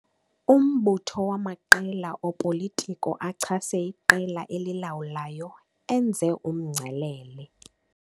Umbutho wamaqela opolitiko achase iqela elilawulayo enze umngcelele.